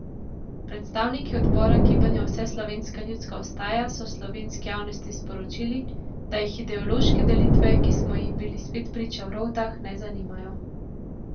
Predstavniki odbora gibanja Vseslovenska ljudska vstaja so slovenski javnosti sporočili, da jih ideološke delitve, ki smo jim bili spet priča v Rovtah, ne zanimajo.